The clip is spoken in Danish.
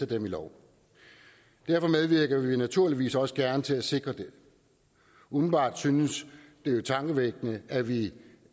dem i lov derfor medvirker vi naturligvis også gerne til at sikre det umiddelbart synes det jo tankevækkende at vi